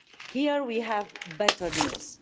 Here we have better news.